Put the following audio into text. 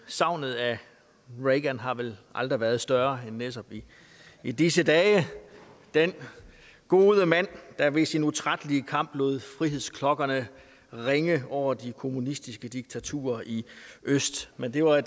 savnet af reagan har vel aldrig været større end netop i disse dage den gode mand der ved sin utrættelige kamp lod frihedsklokkerne ringe over de kommunistiske diktaturer i øst men det var